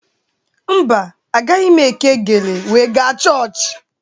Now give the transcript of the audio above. Mba, agaghị m eke gele wee ga chọọchị